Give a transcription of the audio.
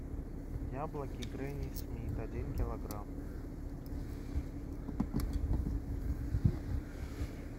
яблоки гренни смит один килограмм